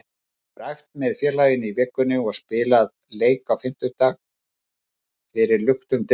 Hann hefur æft með félaginu í vikunni og spilaði leik á fimmtudag fyrir luktum dyrum.